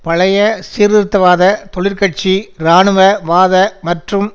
பழைய சீர்திருத்தவாத தொழிற்கட்சி இராணுவவாத மற்றும்